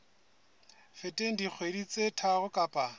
feteng dikgwedi tse tharo kapa